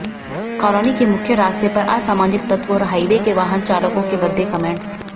colony के मुख्य रास्ते पर असामाजिक तत्व और हाईवे के वाहन चालकों के भद्दे कमैंट्स